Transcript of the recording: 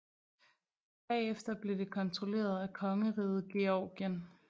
Bagefter blev det kontrolleret af kongeriget Georgien